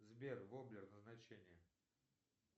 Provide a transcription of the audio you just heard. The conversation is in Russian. сбер воблер назначение